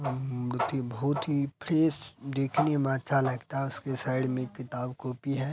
म म मूर्ति बहोत ही फ्रेश देखने में अच्छा लगता है उसके साइड में किताब कॉपी है।